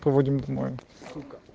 мы будем друг